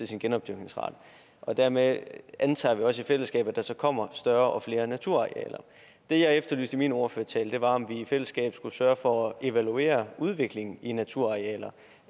sin genopdyrkningsret dermed antager vi også i fællesskab at der så kommer større og flere naturarealer det jeg efterlyste i min ordførertale var om vi i fællesskab skulle sørge for at evaluere udviklingen i naturarealer